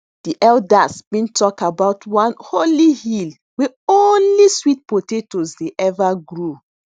de elders been talk about one holy hill wey only sweet potatoes dey ever grow